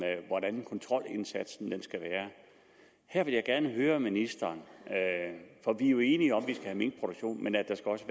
hvordan kontrolindsatsen skal være her vil jeg gerne høre ministeren for vi er jo enige om skal have minkproduktion men at der også